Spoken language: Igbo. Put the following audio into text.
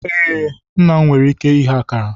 Ee, nna m nwere ike ighe akara.